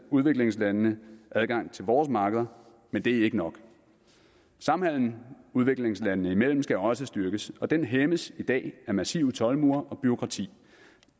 udviklingslandene adgang til vores markeder men det er ikke nok samhandelen udviklingslandene imellem skal også styrkes og den hæmmes i dag af massive toldmure og bureaukrati